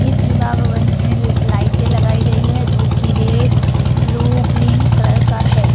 इस विवाह भवन में लाइटे लगायी गयी है जो की रेड ब्लू ग्रीन कलर का है ।